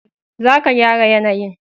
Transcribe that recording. za ka gyara yanayin